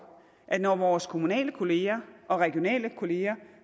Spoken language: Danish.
at når vores kommunale kolleger og regionale kolleger